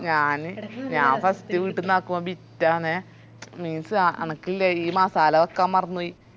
ഞാന് ഞാൻ first വീട്ടീന്ന് ആക്കുമ്പോ ബിറ്റ് ആന്നെ means എനക്കില്ലേ ഈ മസാല വെക്കാൻ മറന്നൊയി